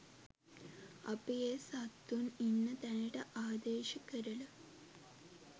අපි ඒ සත්තුන් ඉන්න තැනට ආදේශ කරලා.